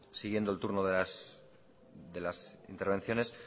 sí siguiendo el turno de las intervenciones